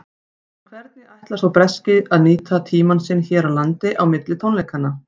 En hvernig ætlar sá breski að nýta tímann sinn hér á landi á milli tónleikanna?